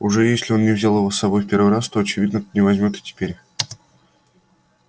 уж если он не взял его с собой в первый раз то очевидно не возьмёт и теперь